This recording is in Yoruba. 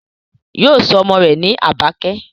Yóò sọ ọmọ rẹ̀ ní Àbákẹ́